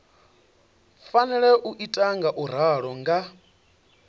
fanela u ita ngauralo nga